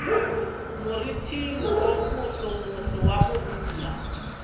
moriting wo mosomoso wa morula